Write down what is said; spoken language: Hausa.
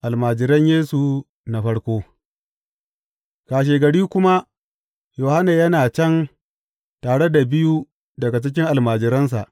Almajiran Yesu na farko Kashegari kuma Yohanna yana can tare da biyu daga cikin almajiransa.